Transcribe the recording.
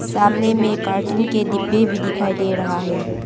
सामने में कार्टून के डिब्बे भी दिखाई दे रहा है।